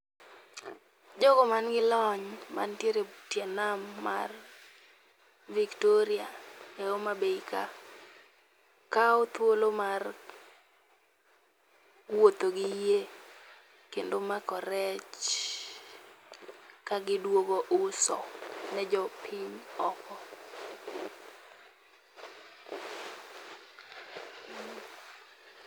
Jogo manigi lony mantiere e tie nam mar Victoria e Homabay ka kawo thuolo mar wuotho gi yie kendo mako rech kagidwogo uso ne jopiny oko.